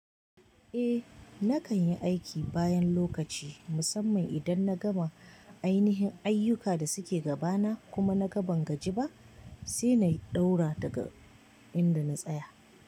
Eh nakan yi aiki bayan lokaci musamman idan na gama ainihin ayyukan da suke gabana kuma na ga ban gaji ba sai na yi ɗaura daga inda na tsaya.